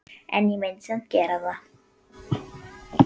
En ég myndi samt gera það.